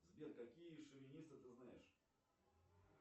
сбер какие шовинисты ты знаешь